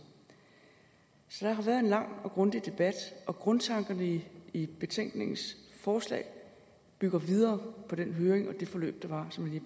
så der har været en lang og grundig debat og grundtankerne i i betænkningens forslag bygger videre på den høring og det forløb der var som jeg